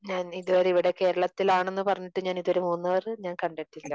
ഞാൻ ഇതുവരെ ഇവിടെ കേരളത്തിൽ ആണെന്ന് പറഞ്ഞിട്ടും ഞാൻ ഇതുവരെ മൂന്നാർ ഞാൻ കണ്ടിട്ടില്ല.